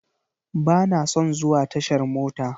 Bana son zuwa tashar mota.